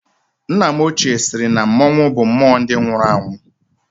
Nna m ochie sịrị na mmọnwụ bụ mmụọ ndị nwụrụ anwụ